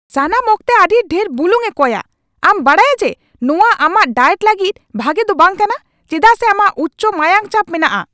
ᱥᱟᱱᱟᱢ ᱚᱠᱛᱮ ᱟᱹᱰᱤ ᱰᱷᱮᱨ ᱵᱩᱞᱩᱝ ᱮ ᱠᱚᱭᱼᱟ ! ᱟᱢ ᱵᱟᱰᱟᱭᱟ ᱡᱮ ᱱᱚᱶᱟ ᱟᱢᱟᱜ ᱰᱟᱭᱮᱴ ᱞᱟᱹᱜᱤᱫ ᱵᱷᱟᱜᱮ ᱫᱚ ᱵᱟᱝ ᱠᱟᱱᱟ ᱪᱮᱫᱟᱜ ᱥᱮ ᱟᱢᱟᱜ ᱩᱪᱪᱚ ᱢᱟᱭᱟᱝ ᱪᱟᱯ ᱢᱮᱱᱟᱜᱼᱟ ᱾